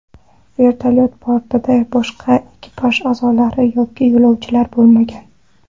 Vertolyot bortida boshqa ekipaj a’zolari yoki yo‘lovchilar bo‘lmagan.